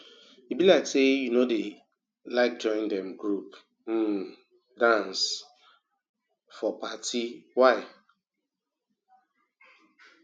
e be like you no like join um group um dance um for party why